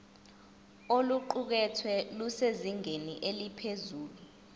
oluqukethwe lusezingeni eliphezulu